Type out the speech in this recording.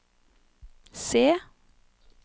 C